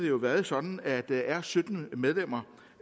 jo været sådan at der er sytten medlemmer